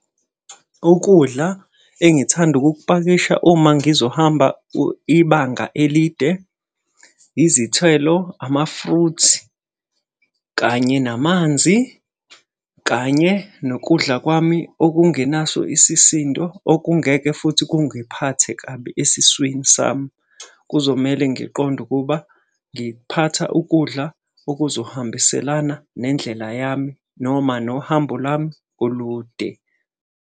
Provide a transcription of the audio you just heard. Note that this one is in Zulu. Ukudla engithanda ukukupakisha uma ngizohamba ibanga elide izithelo, ama-fruits, kanye namanzi, kanye nokudla kwami okungenaso isisindo okungeke futhi kungiphathe kabi esiswini sami. Kuzomele ngiqonde ukuba ngiphatha ukudla okuzohambiselana nendlela yami noma nohambo lwami olude.